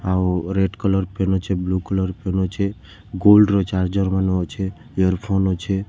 ଆଉ red colour pen ଅଛେ blue colour pen ଅଛେ ଗୋଲ୍ଡ଼ ର ଚାର୍ଜର ମାନେ ଅଛେ ଇୟରଫୋନ୍‌ ଅଛେ--